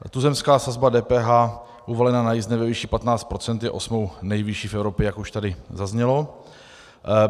Tuzemská sazba DPH uvalená na jízdné ve výši 15 % je osmou nejvyšší v Evropě, jak už tady zaznělo.